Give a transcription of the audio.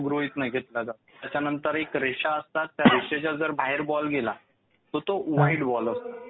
तो गृहीत नाही धरला जात. त्याच्यानंतर एक रेषा असतात त्या रेषेच्या जर बाहेर बॉल गेला तर तो वाईड बॉल असतो.